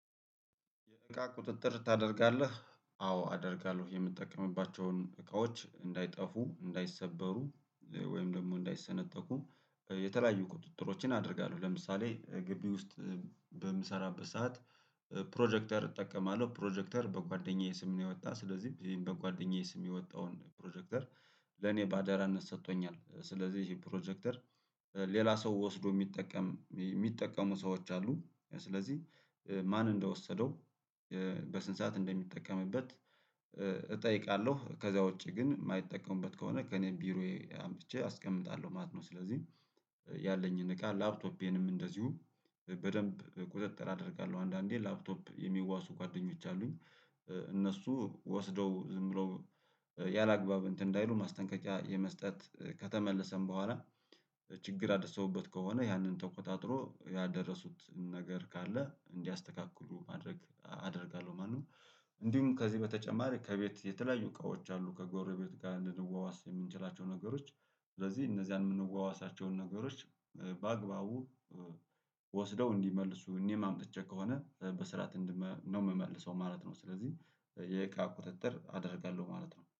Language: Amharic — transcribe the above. የእቃ ቁጥጥር ታደርጋለህ? አዎ አደርጋለሁ የምትጠቀምባቸውን እቃዎች እንዳይጠፉ እንዳይሰበሩ ወይም ደግሞ እንዳይሰነጠቁ የተለያዩ ቁጥጥሮችን አደርጋለሁ። ለምሳሌ ግቢ ውስጥ በምሰራበት ሰዓት ፕሮጀክተር እጠቀማለሁ። ፕሮጀክተር በጓደኛዬ ስም የወጣ ስለዚህም በጓደኛዬ ስም የወጣውን ፕሮጀክተር ለኔ በአደራነት ሰጥቶኛል። ስለዚህ ይሄ ፕሮጀክተር ሌላ ሰው ወስዶ የሚጠቀም የሚጠቀሙ ሰዎች አሉ ስለዚህ ማን እንደወሰደው በስንት ሰዓት እንደሚጠቀምበት እጠይቃለሁ። ከዛ ውጪ ግን የማይጠቀሙበት ከሆነ ከእኔ ቢሮዬ አምቼ አስቀምጣለሁ ማለት ነው። ስለዚህ ያለኝን እቃ ላፕቶፔንም እንደዚሁ በደንብ ቁጥጥር አደርጋለሁ። አንዳንዴ ላፕቶፕ የሚዋሱ ጓደኞች አሉኝ። እነሱ ወስደው ዝምብለው ያላግባብ እንትን እንዳይሉ ማስጠንቀቂያ የመስጠት ከተመለሰም በኋላ ችግር አደረሰሁበት ከሆነ ያንን ተቆጣጥሮ ያደረሱትን ነገር ካለ እንዲያስተካክሉ ማድረግ አደርጋለሁ። ማነው እንዲሁም ከዚህ በተጨማሪ ከቤት የተለያዩ እቃዎች አሉ። ከጎረቤት ጋር እንድንዋዋስ የምንችላቸው ነገሮች ስለዚህ እነዚያን የምንዋዋሳቸውን ነገሮች በአግባቡ ወስደው እንዲመልሱ እኔም አምጥቼ ከሆነ በስራት ነው የምመልሰው ማለት ነው። ስለዚህ የእቃ ቁጥጥር አደርጋለሁ ማለት ነው